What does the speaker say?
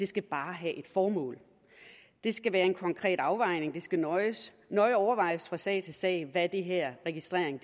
skal bare have et formål det skal være en konkret afvejning det skal nøje nøje overvejes fra sag til sag hvad den her registrering